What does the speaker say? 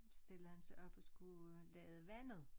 Stillede han sig op og skulle lade vandet